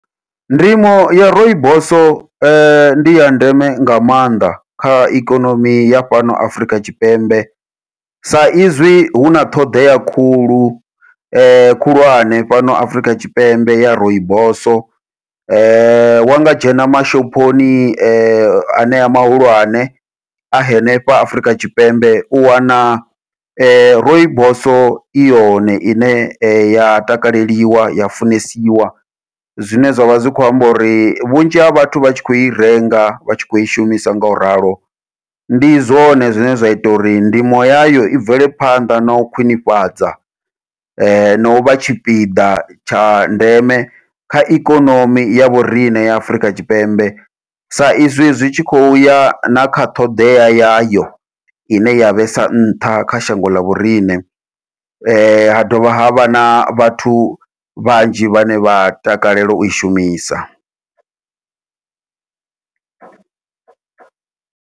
Ndimo ya rooibos ndi ya ndeme nga maanḓa kha ikonomi ya fhano Afrika Tshipembe, sa izwi huna ṱhoḓea khulu khulwane fhano Afrika Tshipembe ya rooibos wa nga dzhena mashophoni anea mahulwane a henefha Afurika Tshipembe u wana rooibos i yone ine ya takaleliwa ya funesiwa. Zwine zwavha zwi kho amba uri vhunzhi ha vhathu vha tshi khou i renga vha tshi kho i shumisa ngau ralo ndi zwone zwine zwa ita uri ndimo yayo i bvele phanḓa nau khwiṋifhadza nau vha tshipiḓa tsha ndeme kha ikonomi ya vhoriṋe ya Afurika Tshipembe, sa izwi zwi tshi khou ya na kha ṱhoḓea yayo, ine ya vhesa nṱha kha shango ḽa vhoriṋe ha dovha havha na vhathu vhanzhi vhane vha takalela ui shumisa.